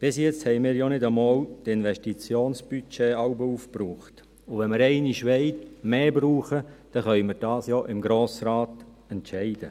Bis jetzt haben wir jeweils ja nicht einmal die Investitionsbudgets aufgebraucht, und wenn wir einmal mehr wollen, können wir dies ja im Grossen Rat entscheiden.